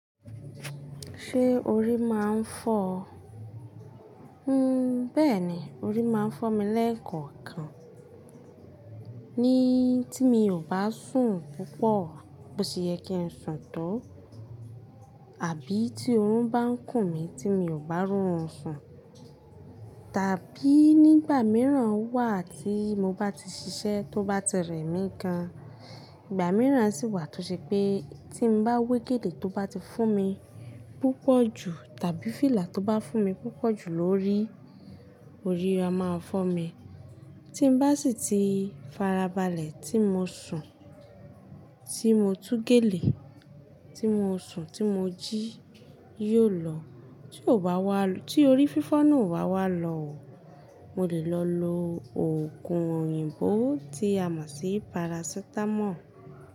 Ṣé orí máa ń fọ́ ọ? Hun. Bẹ́ẹ̀ni, orí máa ń fọ́ mi lẹ́ẹ̀kọ̀kan. Ni tí mi ò bá sùn púpọ̀, bó ṣe yẹ kí n sùn tó, àbí tí oorun bá ń kùn mí tí mi ò bá ro rún ń sùn. Tàbí nígbà mìíràn wà tí mo bá ti ṣiṣẹ́ tó bá ti rẹ mí gan, ìgbà mìíràn sì wà tó ṣe pé tí n bá wé gèlè tó bá ti fún mi púpọ̀ jù tàbí fìlà tó bá fún mi púpọ̀ jù lórí, orí a máa fọ́ mi. Tí n bá sì ti farabalẹ̀ tí mo sùn, tí mo tú gèlè, tí mo sùn, tí mo jí, yóò lọ. Tí ò bá wà, tí orí fífọ́ náà ò bá wà lọò, mo lè lọ lo òògùn òyìnbó tí a mọ̀ sí parasitamọ́ọ̀.